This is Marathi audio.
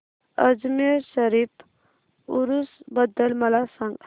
अजमेर शरीफ उरूस बद्दल मला सांग